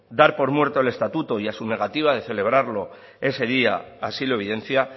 dar muerto el estatuto y a su negativa de celebrarlo ese día así lo evidencia